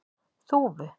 Þúfu